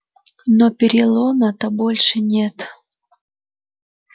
но перелома-то больше нет